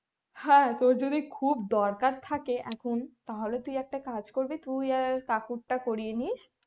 হ্যাঁ তোর যদি খুব দরকার থাকে তাহলে তুই একটা কাজ করবি তুই আর কাকুরটা করিয়ে নিশ